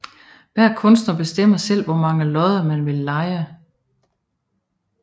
Hver kunstner bestemmer selv hvor mange lodder man vil leje